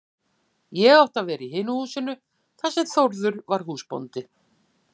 Ég átti að vera í hinu húsinu þar sem Þórður var húsbóndi.